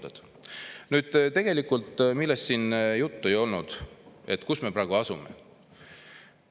Nüüd see, millest siin tegelikult juttu ei olnud, on, kus me praegu asume.